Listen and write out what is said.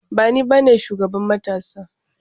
Ba ni bane shugaban matasa ba.